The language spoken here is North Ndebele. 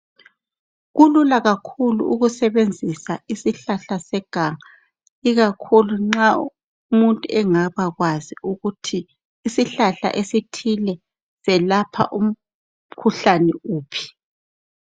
Kulula kakhulu ukusebenzisa isihlahla seganga. Ikakhulu nxa umuntu engabakwazi ukuthi isihlahla esithile, selapha umkhuhlane uphi.